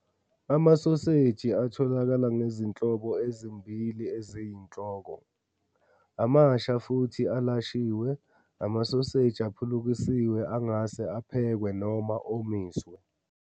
Amasoseji atholakala ngezinhlobo ezimbili eziyinhloko. amasha futhi alashiwe. Amasoseji aphulukisiwe angase aphekwe noma omisiwe.